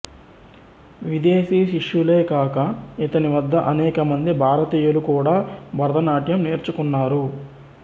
విదేశీ శిష్యులే కాక ఇతని వద్ద అనేక మంది భారతీయులు కూడా భరతనాట్యం నేర్చుకున్నారు